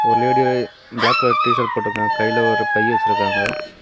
ஒரு lady black colour T shirt போட்டுயிருக்காங்க கையில ஒரு பை வச்சியிருக்காங்க.